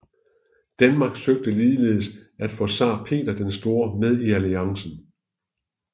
Danmark søgte ligeledes at få zar Peter den Store med i alliancen